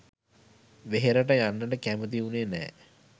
වෙහෙරට යන්නට කැමති වුනේ නෑ